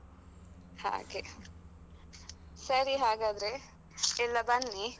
ಹಾಗೆ. ಸರಿ ಹಾಗದ್ರೆ ಎಲ್ಲಾ ಬನ್ನಿ.